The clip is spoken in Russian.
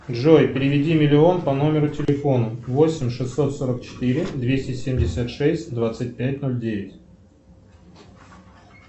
джой переведи миллион по номеру телефона восемь шестьсот сорок четыре двести семьдесят шесть двадцать пять ноль девять